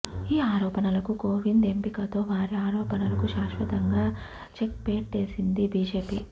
ఈ ఆరోపణలకు కోవింద్ ఎంపికతో వారి ఆరోపణలకు శాశ్వతంగా చెక్పెట్టేసింది బీజేపీ